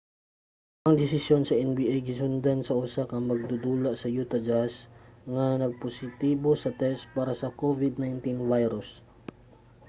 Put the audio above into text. ang desisyon sa nba gisundan sa usa ka magdudula sa utah jazz nga positibo sa test para sa covid-19 virus